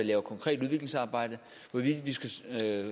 laver konkret udviklingsarbejde hvorvidt vi skal